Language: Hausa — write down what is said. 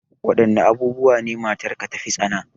Wadanne abubuwa ne matarka ta fi tsana?